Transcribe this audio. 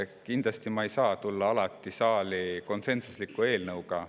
Kindlasti ei saa ma alati tulla saali konsensusliku eelnõuga.